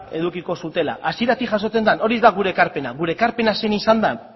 edukiko zutela hasieratik jasotzen zen hori ez da gure ekarpena gure ekarpena zein izan da